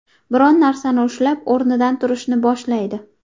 Biron narsani ushlab o‘rnidan turishni boshlaydi.